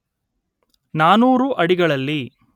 ನಾನೂರು ಅಡಿಗಳಲ್ಲಿ